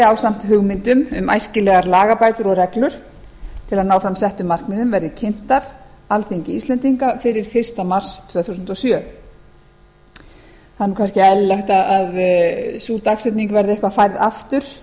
ásamt hugmyndum um æskilegar lagabætur og reglur til að ná fram settum markmiðum verði kynntar alþingi fyrir fyrsta mars tvö þúsund og sjö það er nú kannski eðlilegt að sú dagsetning verði eitthvað færð aftur